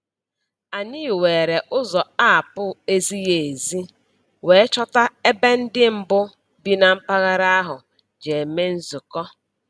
Anyị were ụzọ apụ ezighi ezi wee chọta ebe ndị mbụ bi na mpaghara ahụ ji eme nzukọ.